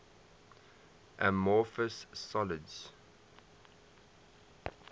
amorphous solids